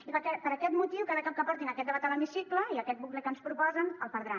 i per aquest motiu cada cop que portin aquest debat a l’hemicicle i aquest bucle que ens proposen el perdran